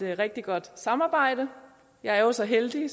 rigtig godt samarbejde jeg er jo så heldig